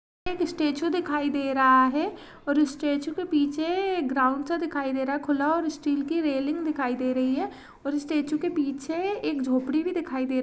एक स्टेच्यु दिखाई दे रहा है और उस स्टेच्यु के पीछे एक ग्राउंड सा दिखाई दे रहा है खुला और स्टील की रेलिंग दिखाई दे रही है और स्टेच्यु के पीछे एक झोपड़ी भी दिखाई दे--